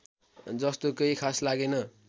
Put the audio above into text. जस्तो केही खास लागेन